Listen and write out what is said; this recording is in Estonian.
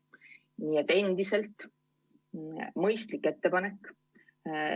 Nii et endiselt mõistlik ettepanek.